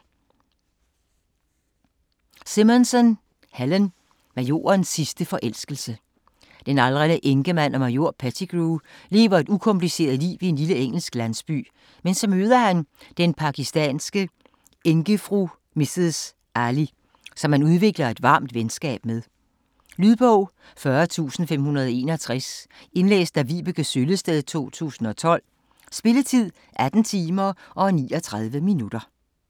Simonson, Helen: Majorens sidste forelskelse Den aldrende enkemand og major Pettigrew lever et ukompliceret liv i en lille engelsk landsby, men så møder han den pakistanske enkefru Mrs. Ali, som han udvikler et varmt venskab med. Lydbog 40561 Indlæst af Vibeke Søllested, 2012. Spilletid: 18 timer, 39 minutter.